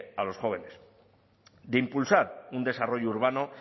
a los jóvenes de impulsar un desarrollo urbano